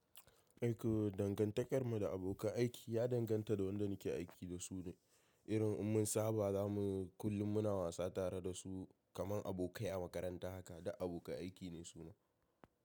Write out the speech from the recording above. Aiko dangantakar mu da abokan aiki ya danganta da wanda nake aiki da su ne, irin mun saba zamu kullum muna wasa tare da su kamar abokai a makaranta haka, da abokan aiki ne su na.